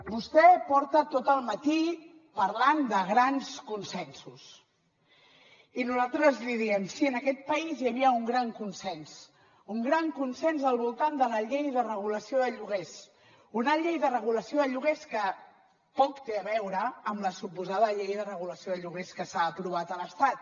vostè porta tot el matí parlant de grans consensos i nosaltres li diem sí en aquest país hi havia un gran consens un gran consens al voltant de la llei de regulació de lloguers una llei de regulació de lloguers que poc té a veure amb la suposada llei de regulació de lloguers que s’ha aprovat a l’estat